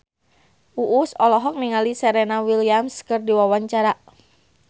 Uus olohok ningali Serena Williams keur diwawancara